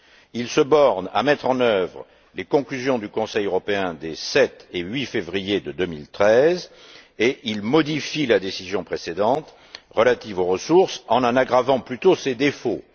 Il se borne à mettre en œuvre les conclusions du Conseil européen des 7 et 8février2013 et il modifie la décision précédente relative aux ressources, en en aggravant plutôt ses défauts.